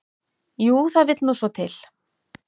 """Jú, það vill nú svo til."""